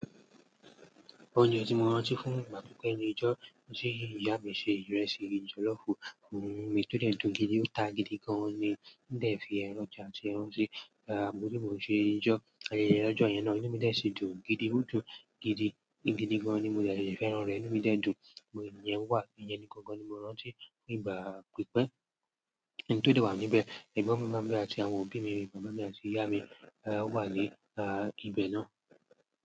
Oúnjẹ tí mo rántí fún ìgbà pípẹ́ ni ijó tí ìyá mi se ìrẹsì jọlọfu, mi tó dẹ̀tún gidi, ó ta gidi gan ni. Nígbà tí ẹ̀ fi ẹran ọjà àti ẹran sí, gbogbo ìbùn ṣe ijó, àti ilé ẹlẹ́jọ̀ yẹn náà. Níbi tí ẹ ṣe dùn gidi, ó dùn gidi, gidi gan ni. Mo dẹ́ lèè fẹ́ran rẹ̀ inu mi dẹ dùn. Òògùn yẹn wà, ìyẹn ni gangan ni mo rántí nígbà pípẹ́. A, n to de wa ni ibe egbon mi mami, ati awon obi mii, baba mi ati iya mi won wa ni ibè náà.